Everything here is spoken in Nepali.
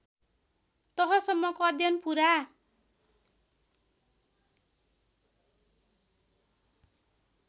तहसम्मको अध्ययन पुरा